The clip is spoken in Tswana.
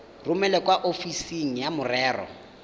romele kwa ofising ya merero